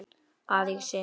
að í syni mínum